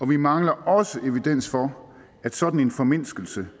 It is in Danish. vi mangler også evidens for at sådan en formindskelse